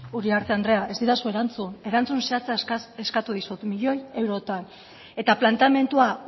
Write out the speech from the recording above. uriarte andrea ez didazu erantzun erantzun zehatza eskatu dizut miloi eurotan eta planteamendua